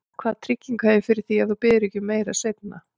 Hvaða tryggingu hef ég fyrir því, að þú biðjir ekki um meira seinna?